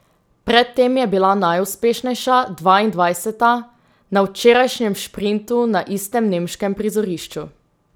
Pred tem je bila najuspešnejša, dvaindvajseta, na včerajšnjem šprintu na istem nemškem prizorišču.